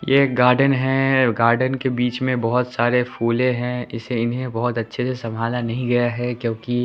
ये एक गार्डन है गार्डन के बीच में बहोत सारे फुले हैं इसे इन्हें बहोत अच्छे से संभाला नहीं गया है क्योंकि--